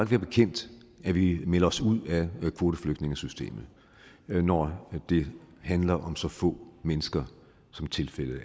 være bekendt at vi melder os ud af kvoteflygtningesystemet når det handler om så få mennesker som tilfældet